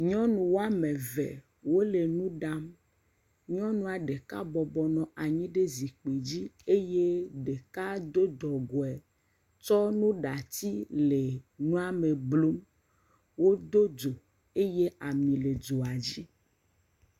Nyɔnu woame ve, wole nu ɖam. Nyɔnua ɖeka bɔbɔ nɔ anyi ɖe zikpi dzi eye ɖeka do dɔgɔe tsɔ nuɖati le nua me blum. Wodo dzo eye ami le dzoa dzi.